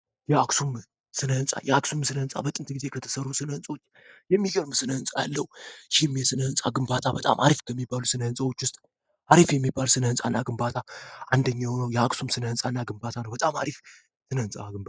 የአክሱም ስለ ህንፃ የአክሱም ስለ ህንፃ በጥንት ጊዜ ከተሰሩ ስለ ግንባታ በጣም አሪፍ በሚባሉ ት የሚባል ህጻናት ግንባታ አንደኛው የአክሱም ስለ ህጻናት በጣም አሪፍ